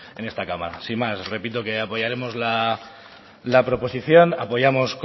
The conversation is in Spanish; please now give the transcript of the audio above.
en esta cámara sin más repito que apoyaremos la proposición apoyamos